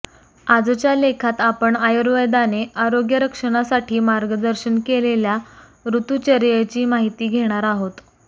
आजच्या लेखात आपण आयुर्वेदाने आरोग्यरक्षणासाठी मार्गदर्शन केलेल्या ऋतूचर्येची माहिती घेणार आहोत